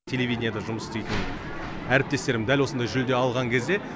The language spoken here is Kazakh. телевидениеда жұмыс істейтін әріптестерім дәл осындай жүлде алған кезде